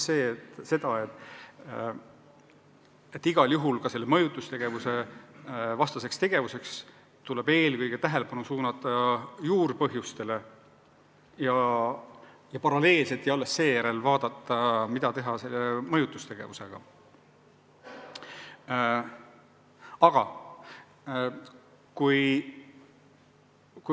Seega tuleb mõjutustegevuse vastu tegutsedes eelkõige tähelepanu suunata juurpõhjustele ja alles seejärel otsustada, kuidas mõjutustegevuse vastu astuda.